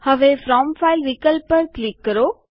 હવે from file વિકલ્પ પર ક્લિક કરો